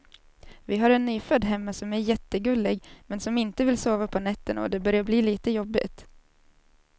Vi har en nyfödd hemma som är jättegullig, men som inte vill sova på nätterna och det börjar bli lite jobbigt.